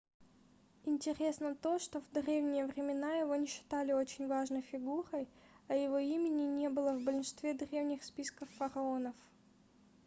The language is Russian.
интересно то что в древние времена его не считали очень важной фигурой а его имени не было в большинстве древних списков фараонов